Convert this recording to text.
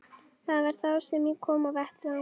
Það var þá sem ég kom á vettvang.